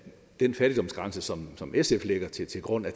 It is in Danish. den fattigdomsgrænse som som sf lægger til grund er